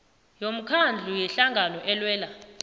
yomkhandlu yehlangano elwela